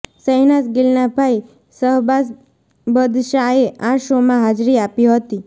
શેહનાઝ ગિલના ભાઈ શહબાઝ બદશાએ આ શોમાં હાજરી આપી હતી